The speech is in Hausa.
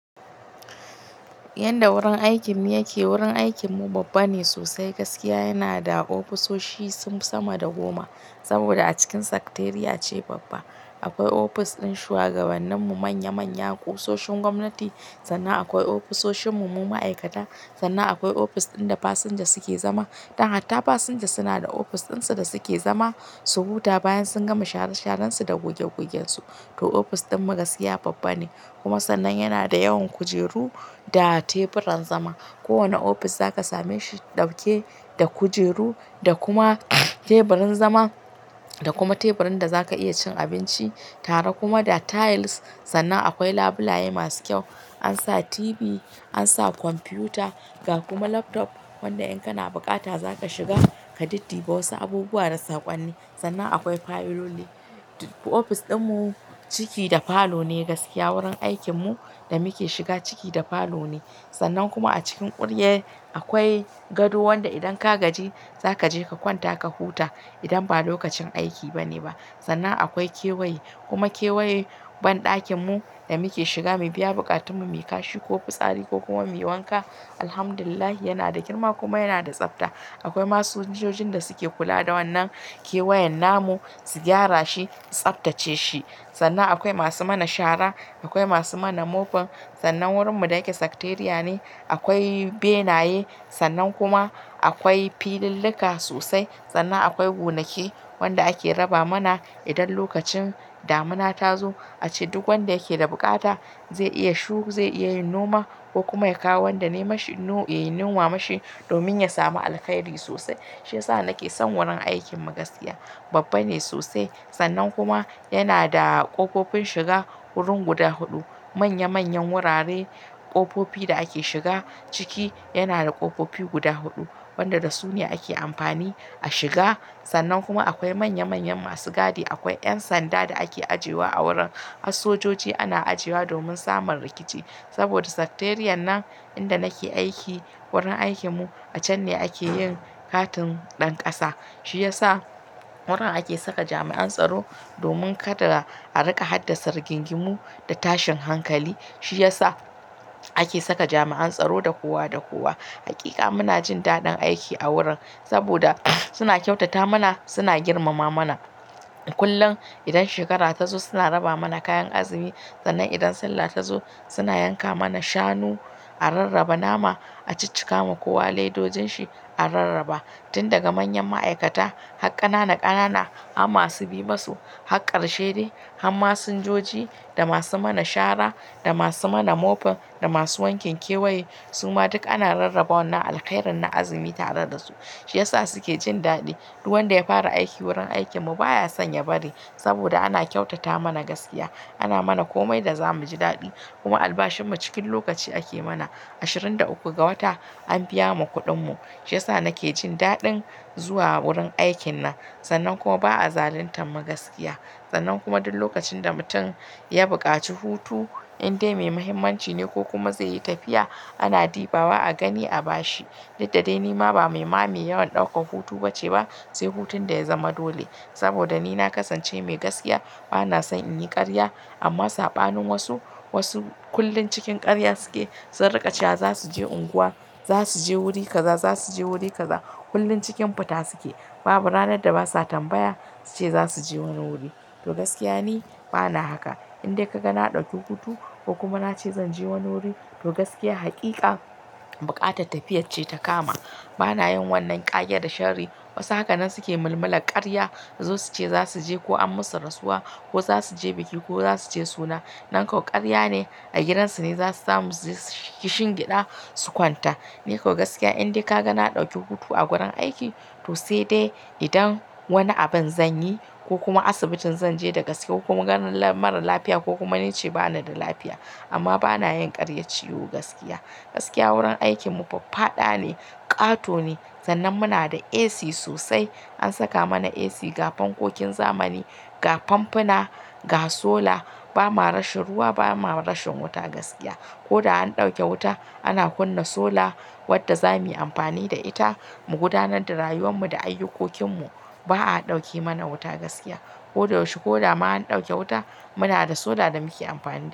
Yanda wurin aikin mu yake, wurin aikinmu babba ne sosai gaskiya. Yana da ofisoshi sama da goma, saboda a cikin sekteriya ce babba. Akwai ofis ɗin shugabanninmu manya-manya, ƙusoshin gwamnati, sannan akwai ofisoshinmu mu ma'aikata, sannan akwai ofis ɗin da fasinja suke zama. Dan hatta fasinja suna da ofis ɗinsu da suke zama, su huta bayan sun gama sharashararsu da gogegogensu. To ofis ɗin mu gaskiya babba ne, kuma sannan yana da yawan kujeru da teburan zama. Kowane ofis zaka same shi dauke da kujeru da kuma teburin zama, da kuma teburin da zaka iya cin abinci, tare kuma da tiles. Sannan akwai labulaye masu kyau. An sa TV, an sa kwamfiyuta, ga kuma laptop wanda in kana bukata zaka shiga ka diddiba wasu abubuwa da saƙonni. Sannan akwai fayiloli. Ofis ɗinmu ciki da falo ne gaskiya. Wurin aikinmu da muke shiga ciki da falo ne. Sannan kuma a cikin ƙurye akwai gado wanda idan ka gaji zaka je ka kwanta ka huta idan ba lokacin aiki bane ba. Sannan akwai kewaye, kuma kewaye banɗakinmu da muke shiga, mu biya bukatunmu, mu kashi ko fitsari ko kuma muyi wanka. Alhamdulillah yana da girma kuma yana da tsafta. Akwai masun jojin da suke kula da wannan kewayen namu, su gyara shi, tsaftace shi. Sannan akwai masu mana shara, akwai masu mana mofa. Sannan wurinmu da yake sekteria ne. Akwai benaye, sannan kuma akwai filillika sosai. Sannan akwai gonaki wanda ake raba mana idan lokacin damina ta zo. A ce duk wanda yake da bukata zai iya shu, zai iya yin noma ko kuma ya kawo wanda ne mashi nu-- ya yi noma mashi domin ya samu alkairi sosai. Shi ya sa nake son wurin aikin mu gaskiya. Babba ne sosai sannan kuma yana da ƙofofin shiga wurin guda huɗu. Manya-manyan wurare, ƙofofi da ake shiga ciki yana da ƙofofi guda huɗu wanda da su ne ake amfani a shiga. Sannan kuma akwai manya-manyan masu gadi. Akwai 'yan sanda da ake ajewa a wurin. Har sojoji ana ajewa domin samun rikici. Saboda sekteriyar nan inda nake aiki, wurin aikinmu a can ne ake yin katin ɗan ƙasa. Shi ya sa wurin ake saka jami'an tsaro domin kada a rika haddasa rigingimu da tashin hankali. Shi ya sa ake saka jami'an tsaro da kowa da kowa. Hakika muna jin daɗin aiki a wurin saboda suna kyautata mana, suna girmama mana. Kullum idan shekara ta zo suna raba mana kayan azumi. Sannan idan Sallah ta zo suna yanka mana shanu a rarraba nama, a ciccikawa kowa leidojin shi a rarraba. Tun daga manyan ma'aikata har ƙanana ƙanana har masu bi ma su har ƙarshe dai. Har masinjoji da masu mana shara da masu mana mopin da masu wankin kewaye suma duk ana rarraba wannan alkhairin na azumi tare da su. Shi ya sa suke jin daɗi. Duk wanda ya fara aiki wurin aikinmu baya son ya bari saboda ana kyautata mana gaskiya. Ana mana komai da za mu ji daɗi kuma albashinmu cikin lokaci ake mana. Ashirin da uku ga wata an biya mu kuɗinmu. Shi ya sa nake jin daɗin zuwa wurin aikin nan. Sannan kuma ba a zaluntar mu gaskiya. Sannan kuma duk lokacin da mutum ya buƙaci hutu, indai mai muhimmanci ne ko kuma zai yi tafiya ana dibawa a gani a bashi. Diddadai ni ma ba mai ma me yawan ɗaukar hutu ba ce ba sai hutun da ya zama dole. Saboda ni na kasance mai gaskiya, bana son in yi ƙarya amma saɓanin wasu, wasu kullum cikin ƙarya suke. Sun riƙa cewa za su je unguwa, za su je wuri kaza, za su je wuri kaza. Kullum cikin fita suke. Babu ranar da basa tambaya suce za su je wani wuri. To gaskiya ni bana haka. Indai ka ga na ɗauki hutu ko kuma na ce zan je wani wuri, to gaskiya hakika buƙatar tafiyar ce ta kama. Bana yin wannan ƙage da sharri. Wasu haka nan suke mulmulal ƙarya. Zo suce za su je ko an musu rasuwa ko za su je biki ko za su je suna. Nan ko ƙarya ne, a gidan su ne za su samu suji su shingiɗa su kwanta. Ni ko gaskiya indai ka ga na ɗauki hutu a wurin aiki to sai dai idan wani abin zan yi ko kuma asibitin zan je da gaske ko kuma ganin mara lafiya ko kuma nice bani da lafiya. Amma bana yin ƙaryar ciwo gaskiya. Gaskiya wurin aikinmu faffada ne, ƙato ne. Sannan muna da AC sosai. An saka mana AC ga fankokin zamani, ga famfuna, ga sola. Ba ma rashin ruwa, ba ma rashin wuta gaskiya. Ko da an ɗauke wuta ana kunna sola wadda zamu yi amfani da ita mu gudanar da rayuwarmu da ayyukokinmu. Ba a ɗauke mana wuta gaskiya. Ko da yaushe ko da ma an ɗauke wuta muna da sola da muke amfani da ita.